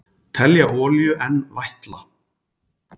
Telja olíu enn vætla